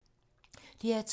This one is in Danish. DR2